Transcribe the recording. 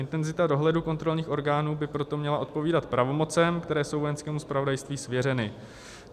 Intenzita dohledu kontrolních orgánů by proto měla odpovídat pravomocem, které jsou Vojenskému zpravodajství svěřeny.